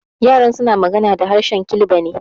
Yaran suna magana da harshen Kilba ne.